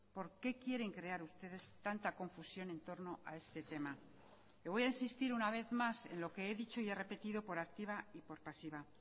por qué quieren crear ustedes tanta confusión en torno a este tema le voy a insistir una vez más en lo que he dicho y he repetido por activa y por pasiva